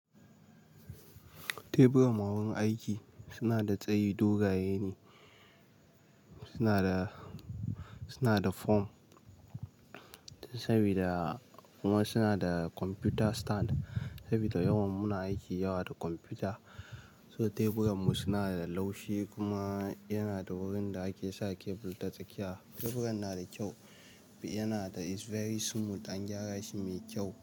Teburanmu a wurin aiki suna da tsayi dogaye ne, suna da, suna da foam sabida kuma suna da computer stand sabida yawan muna aiki yawa da computer. So teburan mu suna da laushi kuma yana da wurin da ake sa cable ta tsakiya. Teburan na da kyau, yanada is very smooth an gyara shi mai kyau.